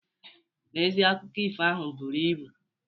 N'ezie, akụko ifo ahụ buru ibu.